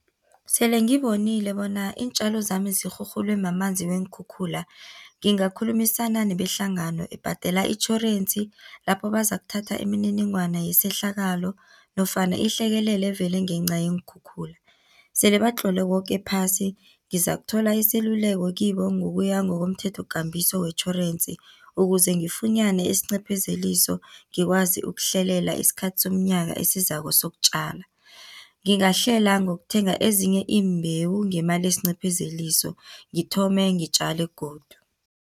Sele ngibonile bona iintjalo zami zirhurhulwe mamanzi weenkhukhula, ngingakhulumisana nebehlangano ebhadela itjhorensi lapho bazakuthatha imininingwana yesehlakalo nofana ihlekelele evele ngenca yeenkhukhula. Sele batlole koke phasi, ngizakuthola iseluleko kibo ngokuya ngokomthetho-kambiso wetjhorensi, ukuze ngifunyane isincephezeliso ngikwazi ukuhlelela isikhathi somnyaka esizako sokutjala. Ngingahlela ngokuthenga ezinye iimbewu ngemali esincephezeliso ngithome ngitjale godu.